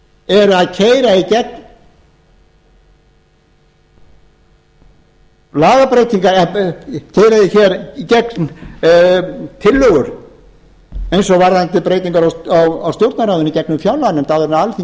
eru að keyra í gegn lagabreytingar keyra hér í gegn tillögur eins og varðandi breytingar á stjórnarráðinu í gegnum fjárlaganefnd áður en alþingi er